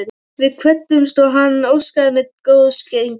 Við kvöddumst og hann óskaði mér góðs gengis.